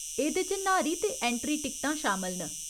एह्दे च न्हारी ते ऐंट्री टिकटां शामल न।